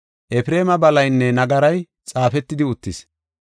Efreema balaynne nagaray xaafetidi uttis.